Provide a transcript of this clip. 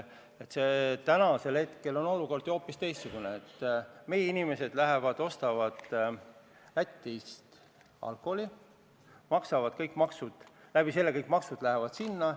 Aga praegu on olukord ju selline, et meie inimesed lähevad ostavad Lätist alkoholi, maksavad seal kõik maksud, kogu maksuraha läheb sinna.